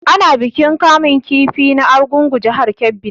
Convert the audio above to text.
Ana yin bikin kamun kifi na argungua jihar Kebbi ne